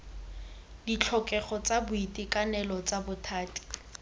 ditlhokego tsa boitekanelo tsa bothati